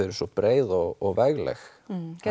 eru svo breið og vegleg